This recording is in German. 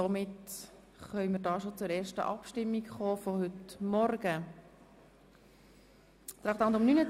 Somit können wir bereits zur ersten Abstimmung des heutigen Morgens schreiten.